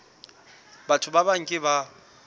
batho ba bang ke ba